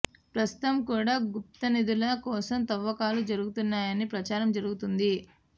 ప్రస్తుతం కూడా గుప్త నిధుల కోసం తవ్వకాలు జరుగుతున్నాయని ప్రచారం జరుగుతుంది